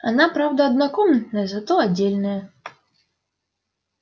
она правда однокомнатная зато отдельная